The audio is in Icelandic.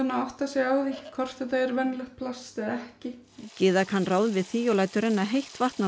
að átta sig á því hvort þetta er venjulegt plast eða ekki Gyða kann ráð við því og lætur renna heitt vatn á